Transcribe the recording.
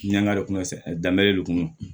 Nga danbere le kunun